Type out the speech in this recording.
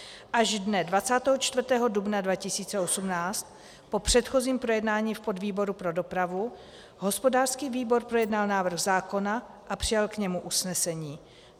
Až dne 24. dubna 2018 po předchozím projednání v podvýboru pro dopravu hospodářský výbor projednal návrh zákona a přijal k němu usnesení.